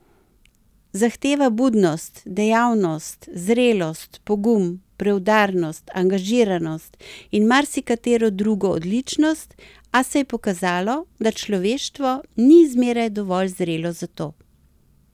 Zahteva budnost, dejavnost, zrelost, pogum, preudarnost, angažiranost in marsikatero drugo odličnost, a se je pokazalo, da človeštvo ni zmeraj dovolj zrelo za to.